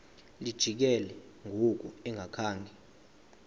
lijikile ngoku engakhanga